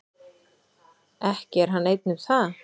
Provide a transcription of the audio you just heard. Ekki er hann einn um það.